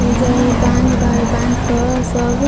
एईजा इ बांध बा। ए बांध प सब --